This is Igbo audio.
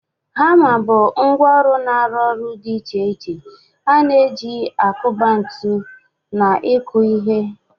Hama bụ ngwá ọrụ na aru oru dị iche iche a na-eji akuba ntu na ịkụ ihe.